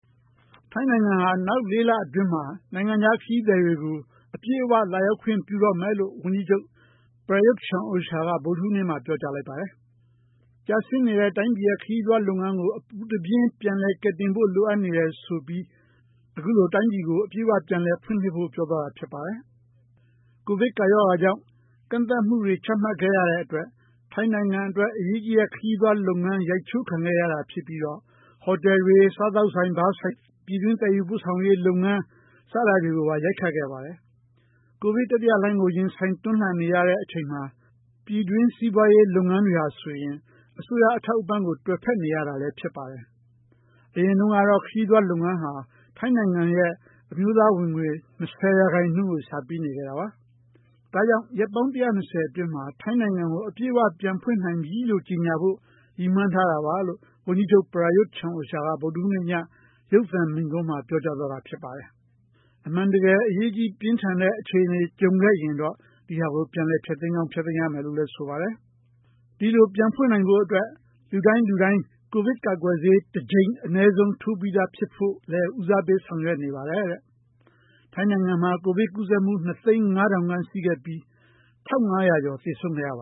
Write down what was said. ထိုင်းနိုင်ငံဟာ နောက် ၄ လအတွင်းမှာ နိုင်ငံခြားခရီးသည်တွေကို အပြည့်အ၀ လာရောက်ခွင့်ပြုတော့မယ်လို့ ဝန်ကြီးချုပ် ပရာရွတ်ချန်အိုချာက ဗုဒ္ဓဟူးနေ့မှာ ပြောကြားလိုက်ပါတယ်။ ကျဆင်းနေတဲ့ တိုင်းပြည်ရဲ့ ခရီးသွားလုပ်ငန်းကို အပူတပြင်း ကယ်တင်ဖို့ လိုအပ်နေတယ်ဆိုပြီး အခုလို တိုင်းပြည်ကို အပြည်အ၀ ပြန်လည်ဖွင့်လစ်ဖို့ ပြောသွားတာဖြစ်ပါတယ်။ COVID ကပ်ရောဂါကြောင့် ကန့်သတ်မှုတွေချမှတ်ခဲ့ရတဲ့အတွက် ထိုင်းနိုင်ငံအတွက်အရေးကြီးတဲ့ ခရီးသွား လုပ်ငန်း ရိုက်ချိုးခံခဲ့ရတာဖြစ်ပြီးတော့ ဟိုတယ်တွေ ၊ စားသောက်ဆိုင် ဘားဆိုင်တွေ ပြည်တွင်းသယ်ယူပို့ဆောင်ရေးလုပ်ငန်း စတာတွေကိုပါ ရိုက်ခတ်ခဲ့ပါတယ်။ COVID တတိယလှိုင်းကို ရင်ဆိုင်တွန်းလှန်နေရတဲ့ အချိန်မှာ ပြည်တွင်းစီးပွားရေး လုပ်ငန်းတွေဟာဆိုရင် အစိုးရအထောက်အပံ့ကို တွယ်ဖက်နေရတာလည်း ဖြစ်ပါတယ်။ အရင်တုန်းကတော့ ခရီးသွားလုပ်ငန်းဟာ ထိုင်းနိုင်ငံရဲ့ အမျိုးသားဝင်ငွေ ၂၀ ရာခိုင်နှုန်းကို ရှာပေးနေခဲ့တာပါ။ ဒါကြောင့် ရက်ပေါင်း ၁၂၀ အတွင်းမှာ ထိုင်းနိုင်ငံကို အပြည့်အ၀ ပြန်ဖွင့်နိုင်ပြီလို့ ကြေညာဖို့ ရည်မှန်းထားတာပါလို့ ဝန်ကြီးချုပ် ပရာရွတ်ချန်အိုချာက ဗုဒ္ဓဟူးနေ့ည ရုပ်သံမိန့်ခွန်းမှာ ပြောကြားသွားတာဖြစ်ပါတယ်။ အမှန်တကယ်အရေးတကြီး ပြင်းထန်တဲ့အခြေအနေ ကြံခဲ့ရင်တော့ ဒါကို ပြန်လည်ဖျက်သိမ်းကြောင်း လုပ်ရမယ်လို့လည်း ဆိုပါတယ်။ ဒီလိုပြန်ဖွင့်နိုင်ဖို့အတွက် လူတိုင်းလူတိုင်း COVID ကာကွယ်ဆေးတကြိမ် အနည်းဆုံးထိုးပြီးသားဖြစ်ဖို့လည်း ဦးစားပေး ဆောင်ရွက်နေပါတယ်။ ထိုင်းနိုင်ငံမှာ COVID ကူးစက်မှု ၂ သိန်း ၅ ထောင်ရှိခဲ့ပြီး ၁၅၀၀ ကျော်သေဆုံးခဲ့ပ